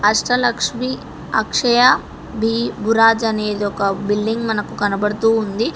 అష్టలక్ష్మి అక్షయ బి భురాజ్ అనేది ఒక బిల్డింగ్ మనకు కనబడుతూ ఉంది.